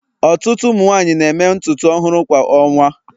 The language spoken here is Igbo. ọtụtụ ụmụ nwanyị na-eme ntutu ọhụrụ kwa ọnwa